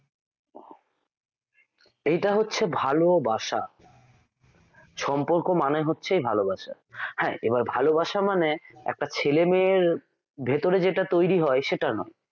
এটা হচ্ছে ভালোবাসা সম্পর্ক মানেই হচ্ছে ভালোবাসা হ্যাঁ এবার ভালোবাসা মানে একটা ছেলে মেয়ের ভেতরে যেটা তৈরি হয় সেটা নয়